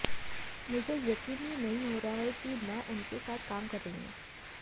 मुझे यकीन ही नहीं हो रहा था कि मैं उनके साथ काम कर रही हूं